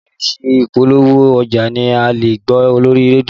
Oríṣiríṣi ìpolówó ọjà ni a lè gbọ́ lórí rédíò